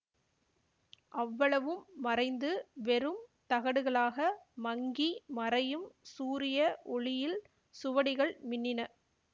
அவ்வளவும் மறைந்து வெறும் தகடுகளாக மங்கி மறையும் சூரிய ஒளியில் சுவடிகள் மின்னின